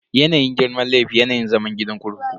Yanayin girman laifi, yanayin zaman gidan kurkuku.